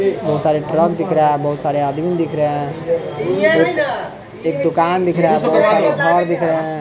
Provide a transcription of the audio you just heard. बहुत सारे ट्रक दिख रहा है बहुत सारे आदमी दिख रहे हैं एक-एक दुकान दिख रहा है बहुत सारे घर दिख रहे हैं।